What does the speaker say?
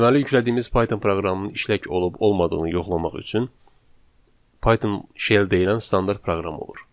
Deməli, yüklədiyimiz Python proqramının işlək olub-olmadığını yoxlamaq üçün Python Shell deyilən standart proqram olur.